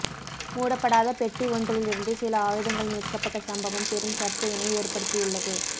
மூடப்படாத பெட்டி ஒன்றிலிருந்து சில ஆயுதங்கள் மீட்கப்பட்ட சம்பவம் பெரும் சர்ச்சையினை ஏற்படுத்தியுள்ளத